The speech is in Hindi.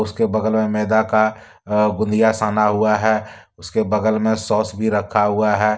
उसके बगल मे मैदा का अ गुदिया साना हुआ है। उसके बगल मे सॉस भी रखा हुआ है।